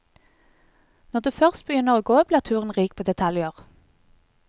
Når du først begynner å gå, blir turen rik på detaljer.